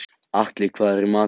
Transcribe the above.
Atli, hvað er í matinn?